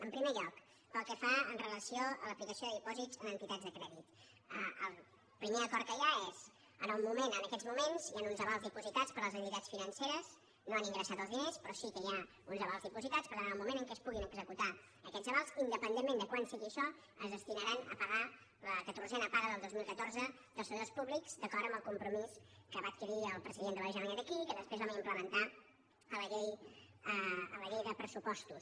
en primer lloc pel que fa amb relació a l’aplicació de dipòsits en entitats de crèdit el primer acord que hi ha és en aquests moments hi han uns avals dipositats per les entitats financeres no han ingressat els diners però sí que hi ha uns avals dipositats per tant en el moment en què es puguin executar aquests avals independentment de quan sigui això es destinaran a pagar la catorzena paga del dos mil catorze dels treballadors públics d’acord amb el compromís que va adquirir el president de la generalitat aquí i que després vam implementar en la llei de pressupostos